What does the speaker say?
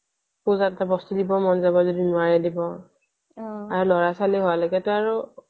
পূজাত যে বস্তু দিব মন যাব যদি নোৱাৰে দিব আৰু লৰা ছোৱালী হোৱা লৈকে টো আৰু